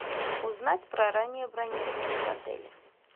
узнать про раннее бронирование в отеле